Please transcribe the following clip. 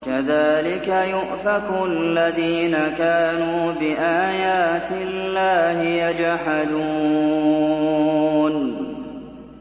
كَذَٰلِكَ يُؤْفَكُ الَّذِينَ كَانُوا بِآيَاتِ اللَّهِ يَجْحَدُونَ